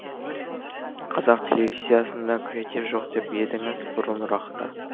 қазақ телевизиясында креатив жоқ деп едіңіз бұрынырақта